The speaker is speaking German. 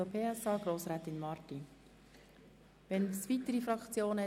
Wir kommen zu den Fraktionen.